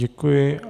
Děkuji.